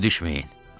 Əl ayağa düşməyin.